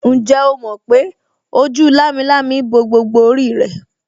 Ǹjẹ́ o mọ̀ pé ojú lámilámi bo gbogbo orí rẹ̀